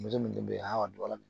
Muso min den bɛ hɔn a dɔgɔyalen